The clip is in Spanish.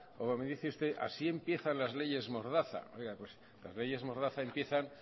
como me dice usted así empiezan las leyes mordaza las leyes mordaza empiezan